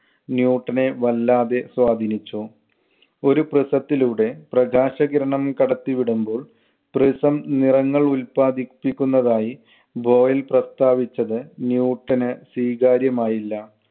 ന്യൂട്ടനെ വല്ലാതെ സ്വാധീനിച്ചു. ഒരു prism ത്തിലൂടെ പ്രകാശകിരണം കടത്തിവിടുമ്പോൾ prism നിറങ്ങൾ ഉത്പാദിപ്പിക്കുന്നതായി ബോയിൽ പ്രസ്താവിച്ചത് ന്യൂട്ടന് സ്വീകാര്യമായില്ല.